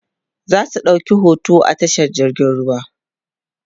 zasu ɗauki hoto a tashar jirgin ruwa